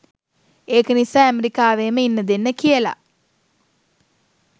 ඒක නිසා ඇමරිකාවේම ඉන්න දෙන්න කියලා